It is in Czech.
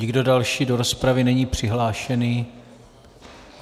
Nikdo další do rozpravy není přihlášený.